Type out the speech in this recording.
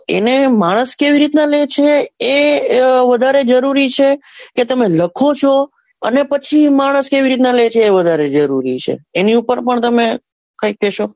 તો એને માનસ કેવી રીતે લે છે એ વધારે જરૂરી છે કે તમે લખો છો એના પછી માનસ કઈ રીત નાં લે છે એ વધારે જરૂરી છે એની ઉપર પણ તમે કઈક કેશો,